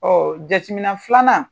jateminɛ filanan